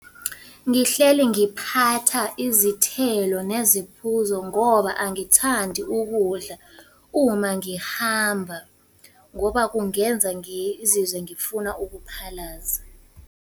Ngihleli ngiphatha izithelo neziphuzo ngoba angithandi ukudla uma ngihamba, ngoba kungenza ngizizwe ngifuna ukuphalaza.